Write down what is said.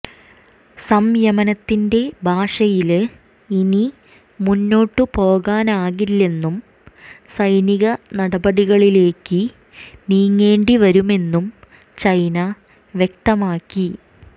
സംയമനത്തിന്റെ ഭാഷയില് ഇനി മുന്നോട്ടുപോകാനാകില്ലെന്നും സൈനിക നടപടികളിലേക്ക് നീങ്ങേണ്ടി വരുമെന്നും ചൈന വ്യക്തമാക്കി